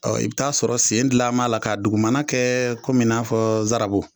Ɔ i bi t'a sɔrɔ sen gilan ba la k'a dugumana kɛ komin i na fɔ zarabu